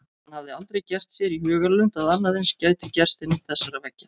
Hann hafði aldrei gert sér í hugarlund að annað eins gæti gerst innan þessara veggja.